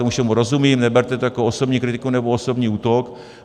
Tomu všemu rozumím, neberte to jako osobní kritiku nebo osobní útok.